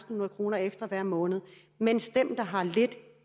hundrede kroner ekstra hver måned mens dem der kun har lidt